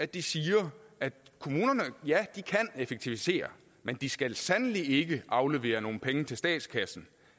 de siger kommunerne ja de kan effektivisere men de skal sandelig ikke aflevere nogen penge til statskassen